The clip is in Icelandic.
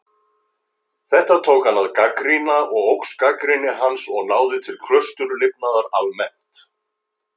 Þetta tók hann að gagnrýna og óx gagnrýni hans og náði til klausturlifnaðar almennt.